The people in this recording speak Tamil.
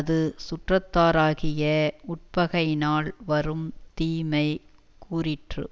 இது சுற்றத்தாராகிய உட்பகையினால் வரும் தீமை கூறிற்று